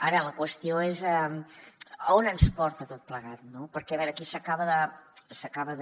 ara la qüestió és a on ens porta tot plegat no perquè a veure aquí s’acaba de